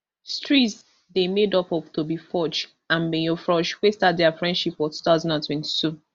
streeze dey made up of toby forge and mayor frosh wey start dia friendship for two thousand and twenty-two